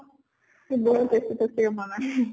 সি বহুত tasty tasty কে বনায় ।